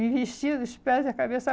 Me vestia dos pés e da cabeça.